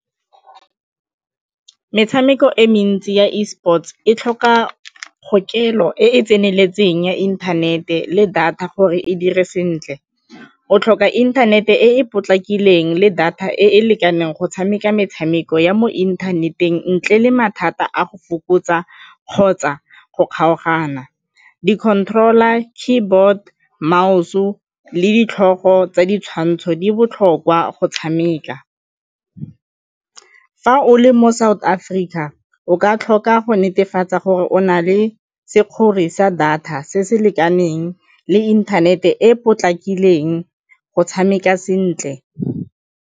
Metshameko e mentsi ya Esports e tlhoka kgokelo e e tseneletseng ya inthanete le data gore e dire sentle o tlhoka inthanete e e potlakileng le data e e lekaneng go tshameka metshameko ya mo inthaneteng ntle le mathata a go fokotsa kgotsa go kgaogana. Di-controler, keyboard, mouse-o le ditlhogo tsa ditshwantsho di botlhokwa go tshameka. Fa o le mo South Africa, o ka tlhoka go netefatsa gore o na le sa data se se lekaneng le inthanete e e potlakileng go tshameka sentle.